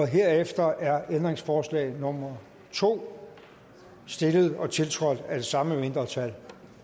herefter er ændringsforslag nummer to stillet og tiltrådt af det samme mindretal